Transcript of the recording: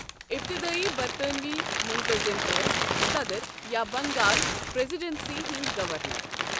ابتدٲئی برطانوی مُنتظم ٲسۍ صدر یا بنٛگال پریزیڈنسی ہٕنٛدۍ گورنر۔